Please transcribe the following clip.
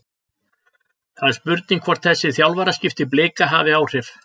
Það er spurning hvort þessi þjálfaraskipti Blika hafi áhrif?